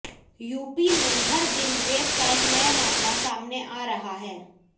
UP में हर दिन रेप का एक नया मामला सामने आ रहा है